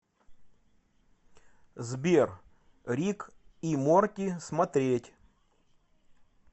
сбер рик и морти смотреть